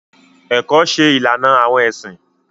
Ẹkọ ṣe ìlànà awọn ẹsin.